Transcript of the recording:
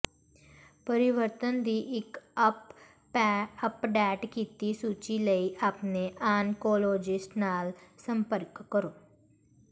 ਪਰਿਵਰਤਨ ਦੀ ਇੱਕ ਅਪਡੇਟ ਕੀਤੀ ਸੂਚੀ ਲਈ ਆਪਣੇ ਆਨਕੋਲੋਜਿਸਟ ਨਾਲ ਸੰਪਰਕ ਕਰੋ